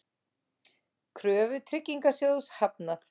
Kröfu Tryggingasjóðs hafnað